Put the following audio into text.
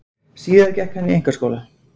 Síðar gekk hann í einkaskóla.